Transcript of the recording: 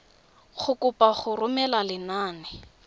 go kopa go romela lenane